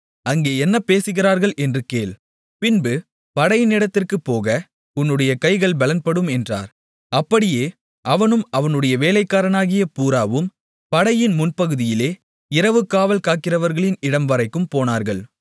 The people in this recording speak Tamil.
அங்கே என்ன பேசுகிறார்கள் என்று கேள் பின்பு படையினிடத்திற்குப் போக உன்னுடைய கைகள் பெலப்படும் என்றார் அப்படியே அவனும் அவனுடைய வேலைக்காரனாகிய பூராவும் படையின் முன்பகுதியிலே இரவுகாவல் காக்கிறவர்களின் இடம்வரைக்கும் போனார்கள்